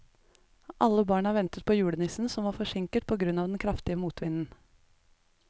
Alle barna ventet på julenissen, som var forsinket på grunn av den kraftige motvinden.